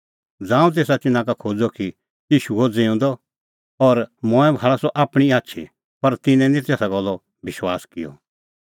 ज़ांऊं तेसा तिन्नां का खोज़अ कि ईशू हुअ ज़िऊंदअ और मंऐं भाल़अ सह आपणीं आछी पर तिन्नैं निं तेसे गल्लो विश्वास किअ